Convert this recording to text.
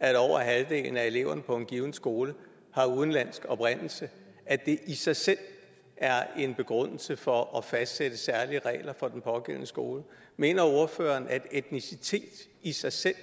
at over halvdelen af eleverne på en given skole har udenlandsk oprindelse i sig selv er en begrundelse for at fastsætte særlige regler for den pågældende skole mener ordføreren at etnicitet i sig selv